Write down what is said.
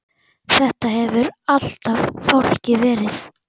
Þetta hefur alltaf fálki verið.